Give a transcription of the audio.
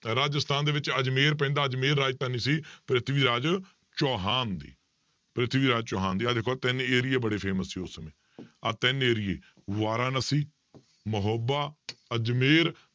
ਰਾਜਸਥਾਨ ਦੇ ਵਿੱਚ ਅਜ਼ਮੇਰ ਪੈਂਦਾ ਅਜ਼ਮੇਰ ਰਾਜਧਾਨੀ ਸੀ ਪ੍ਰਿਥਵੀ ਰਾਜ ਚੌਹਾਨ ਦੀ, ਪ੍ਰਿਥਵੀ ਰਾਜ ਚੌਹਾਨ ਦੀ ਆਹ ਦੇਖੋ ਤਿੰਨ ਏਰੀਏ ਬੜੇ famous ਸੀ ਉਸ ਸਮੇਂ ਆਹ ਤਿੰਨ ਏਰੀਏ ਬਾਰਾਂਨਸੀ ਮਹੋਬਾ ਅਜ਼ਮੇਰ